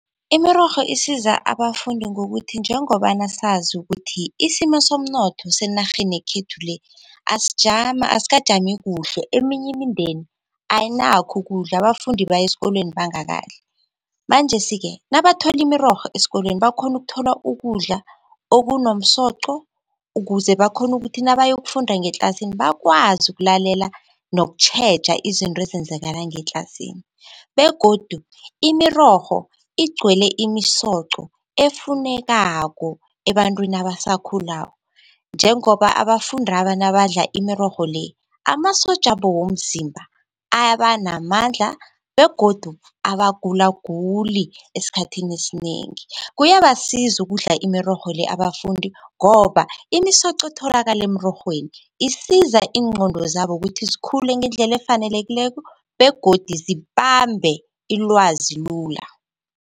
Imirorho isiza abafundi ngokuthi njengobana sazi ukuthi isimo somnotho senarheni yekhethu le asijami, asikajami kuhle. Eminye imindeni ayinakho ukudla abafundi bayesikolweni bangakadli. Manjesi-ke nabathola imirorho esikolweni bakhona ukuthola ukudla okunomsoco, ukuze bakhone ukuthi nabayokufunda ngetlasini bakwazi ukulalela nokutjheja izinto ezenzakala ngetlasini. Begodu imirorho igcwele imisoco efunekako ebantwini abasakhulako njengoba abafundaba nabadla imirorho le, amasotjabo womzimba abanamandla begodu abagulaguli esikhathini esinengi. Kuyabasiza ukudla imirorho le abafundi ngoba imisoco etholakala emrorhweni isiza iIngqondo zabo ukuthi zikhule ngendlela efanelekileko begodu zibambe ilwazi lula.